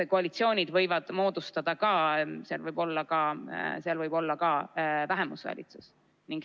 Koalitsioonid võivad moodustuda ka nii, et võib olla ka vähemusvalitsus.